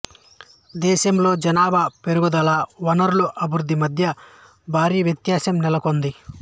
దేశంలో జనాభా పెరుగుదల వనరుల అభివృద్ధి మధ్య భారీ వ్యత్యాసం నెలకొంది